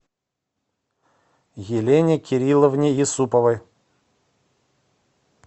елене кирилловне юсуповой